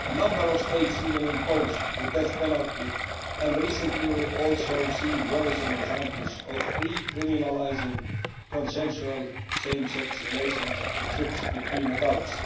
A number of states even impose the death penalty, and recently we have also seen worrisome examples of re criminalising consensual same sex relationships between adults.